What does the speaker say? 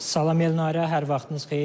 Salam Elnarə, hər vaxtınız xeyir.